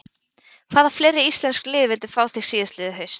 Hvaða fleiri íslensk lið vildu fá þig síðastliðið haust?